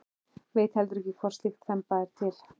Veit heldur ekki hvort slík þemba er til.